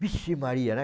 Vixe Maria, né?